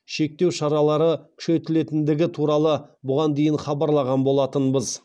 шектеу шаралары күшейтілетіндігі туралы бұған дейін хабарлаған болатынбыз